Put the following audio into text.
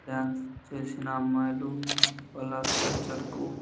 Dance చేసిన అమ్మాయిలు వాళ్ళ టీచర్ కు.